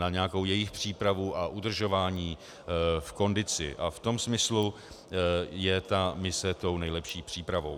Na nějakou jejich přípravu a udržování v kondici a v tom smyslu je ta mise tou nejlepší přípravou.